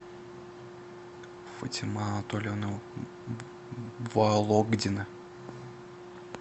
фатима анатольевна вологдина